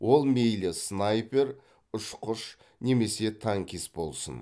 ол мейлі снайпер ұшқыш немесе танкист болсын